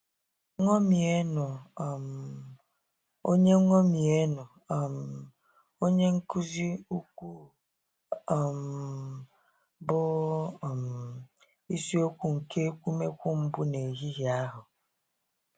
" Ñomienụ um Onye Ñomienụ um Onye nkụzi ukwuu " um bụ um isi okwu nke ekwumekwu mbụ n'ehihie ahụ.